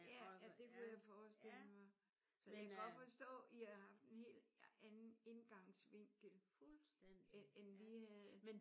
Ja ja det kunne jeg forestille mig. Så jeg kan godt forstå at I har haft en helt anden indgangsvinkel end vi havde